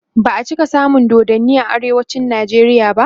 ba'a cika samun dodanni a arewacin nijeriya ba